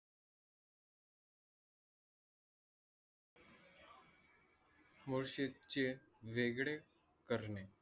चे वेगळे करणे.